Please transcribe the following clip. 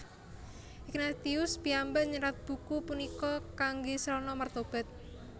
Ignatius piyambak nyerat buku punika kangge srana mertobat